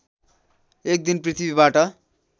एक दिन पृथ्वीबाट